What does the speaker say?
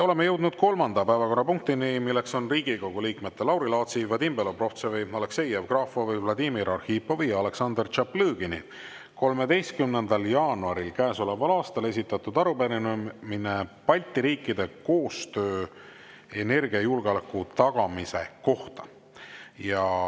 Oleme jõudnud kolmanda päevakorrapunktini: Riigikogu liikmete Lauri Laatsi, Vadim Belobrovtsevi, Aleksei Jevgrafovi, Vladimir Arhipovi ja Aleksandr Tšaplõgini 13. jaanuaril käesoleval aastal esitatud arupärimine Balti riikide koostöö kohta energiajulgeoleku tagamisel.